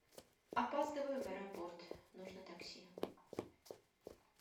опаздываю в аэропорт нужно такси